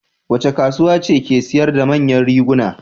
Wace kasuwa ce ke sayar da manyan riguna?